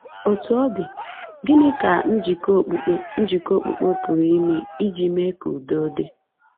Otú ọ dị, gịnị ka njikọ okpukpe njikọ okpukpe pụrụ ime iji mee ka udo dị?